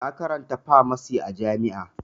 Na karanta famasi a jami'a